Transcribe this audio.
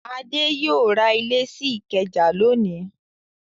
Adé yóò ra ilé sí Ìkẹjà lónìí!